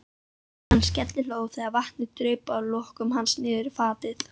Hann skellihló þegar vatnið draup af lokkum hans niðrí fatið.